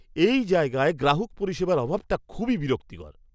এই জায়গায় গ্রাহক পরিষেবার অভাবটা খুবই বিরক্তিকর!